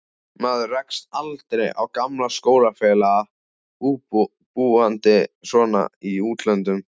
Maður rekst aldrei á gamla skólafélaga, búandi svona í útlöndum.